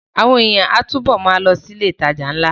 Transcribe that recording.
Àwọn èèyàn á túbọ̀ ma lọ sí ilé ìtajà ńlá